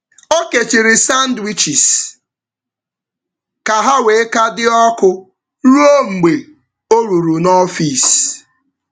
Ọ kechiri sandwiches ka ha wee ka dị ọkụ ruo mgbe ọ ruru n’ọfịs.